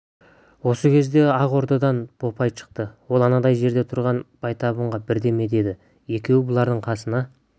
осы кезде ақ ордадан бопай шықты ол анандай жерде тұрған байтабынға бірдеме деді екеуі бұлардың қасына